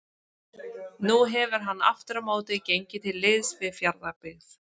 Nú hefur hann aftur á móti gengið til liðs við Fjarðabyggð.